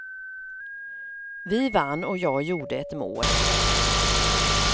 Vi vann och jag gjorde ett mål.